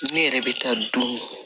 Ne yɛrɛ bɛ taa don